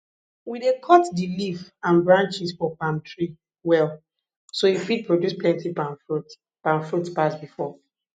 we dey cut di leaf an branches for palm tree well so e fit produce plenti palm fruits palm fruits pass before